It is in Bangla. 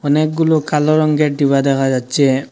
অনেকগুলো কালো রঙ্গের ডিবা দেখা যাচ্ছে।